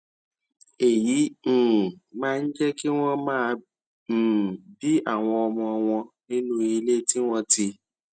èyí um máa ń jé kí wón máa um bí àwọn ọmọ wọn nínú ilé tí wón ti